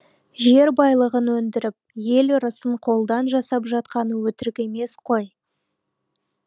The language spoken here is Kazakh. жер байлығын өндіріп ел ырысын қолдан жасап жатқаны өтірік емес қой